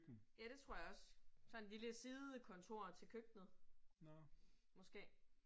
Ja, det tror jeg også. Sådan lille sidekontor til køkkenet. Måske